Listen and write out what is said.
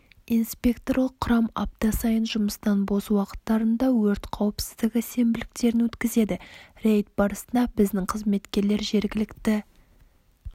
инспекторлық құрам апта сайын жұмыстан бос уақыттарында өрт қауіпсіздігі сенбіліктерін өткізеді рейд барысында біздің қызметкерлер жергілікті